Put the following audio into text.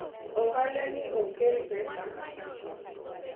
ohala ni ok kel pesa kaka chon